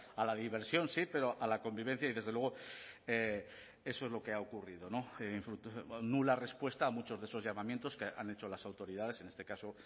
a la diversión sí pero a la convivencia y desde luego eso es lo que ha ocurrido nula respuesta a muchos de esos llamamientos que han hecho las autoridades en este caso